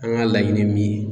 An ka laɲini ye min ye.